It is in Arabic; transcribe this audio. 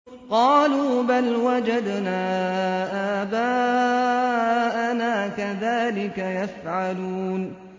قَالُوا بَلْ وَجَدْنَا آبَاءَنَا كَذَٰلِكَ يَفْعَلُونَ